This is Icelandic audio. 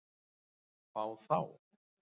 Fá þá?